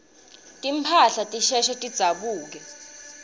timphahla tisheshe tidzabuke